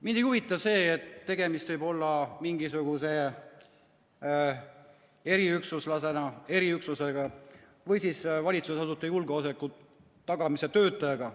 Mind ei huvita see, et tegemist võib olla mingisuguse eriüksuslasega või siis valitsusasutuste julgeoleku tagamise töötajaga.